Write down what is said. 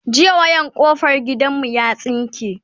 jiya wayan kofar gidan mu ya tsinke